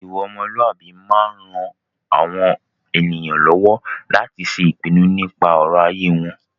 Ìwà ọmọlúàbí máa ń ran àwọn ènìyàn lọ́wọ́ láti ṣe ìpinu nípa ọ̀rọ̀ ayé wọn.